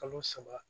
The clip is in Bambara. Kalo saba